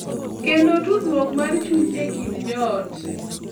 Kendo tudruok mar chuny e kind jo ot.